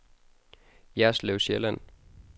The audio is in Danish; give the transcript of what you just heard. Jerslev Sjælland